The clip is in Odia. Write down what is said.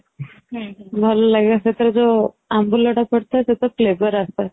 ବହ୍ଳା ଲାଗେ ସେଥିରେ ଯୋଉ ଆମ୍ବୁଲ ଟା ପଡିଥାଏ ସେଟା flavour ଆସିଥାଏ